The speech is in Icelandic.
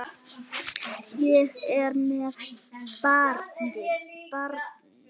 Ég er með barni.